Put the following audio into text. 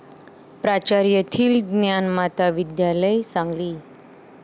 प्राचार्य थील, ज्ञानमाता विद्यालय, सांगली